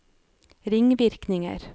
ringvirkninger